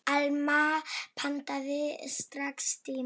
Alma pantaði strax tíma.